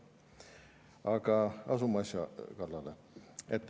Aga asume asja kallale.